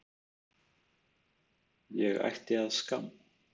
Ég ætti að skamm